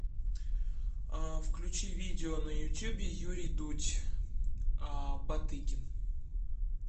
включи видео на ютубе юрий дудь батыгин